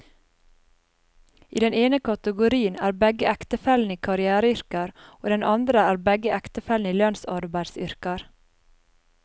I den ene kategorien er begge ektefellene i karriereyrker, og i den andre er begge ektefellene i lønnsarbeideryrker.